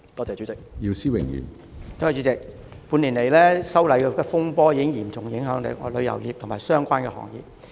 主席，半年來，修例風波已嚴重影響旅遊業及相關行業。